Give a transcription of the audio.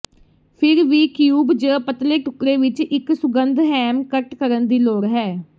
ਫਿਰ ਵੀ ਕਿਊਬ ਜ ਪਤਲੇ ਟੁਕੜੇ ਵਿੱਚ ਇੱਕ ਸੁਗੰਧ ਹੈਮ ਕੱਟ ਕਰਨ ਦੀ ਲੋੜ ਹੈ